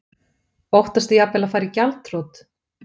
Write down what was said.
Óttastu jafnvel að fara í gjaldþrot?